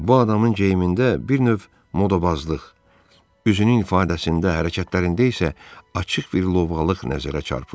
Bu adamın geyimində bir növ modabazlıq, üzünün ifadəsində, hərəkətlərində isə açıq bir lovğalıq nəzərə çarpırdı.